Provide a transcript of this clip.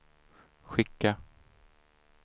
skicka